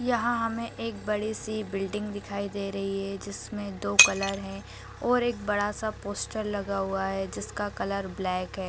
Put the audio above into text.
यहाँ हमें एक बड़ी से बिल्डिंग दिखाई दे रही है जिसमें दो कलर हैं और एक बड़ा सा पोस्टर लगा हुआ है जिसका कलर ब्लैक है।